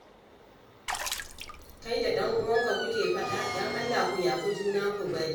Kai da ɗanuwanka kuke faɗa? don Allah ku yafi juna ku bari